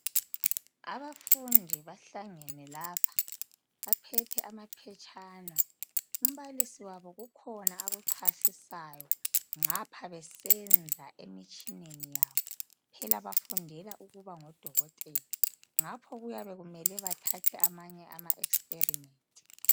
Abafundi bahlangene lapha baphethe amaphetshana umbalisi wabo kukhona akuchasisayo, ngapha besenza emtshineni yabo, phela bafundela ukuba ngodokotela ngapho kuyabe kumele bathathe amanye ama experiment.